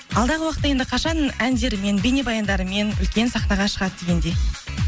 алдағы уақытта енді қашан әндерімен бейнебаяндарымен үлкен сахнаға шығады дегендей